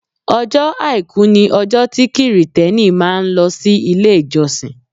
Ọjọ́ àìkú ni ọjọ́ tí Kirìtẹ́nì máa ń lọ sí ilé ìjọsìn.